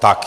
Tak.